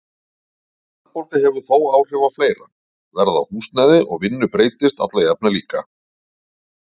Verðbólga hefur þó áhrif á fleira, verð á húsnæði og vinnu breytist alla jafna líka.